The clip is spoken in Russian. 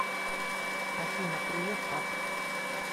афина привет пап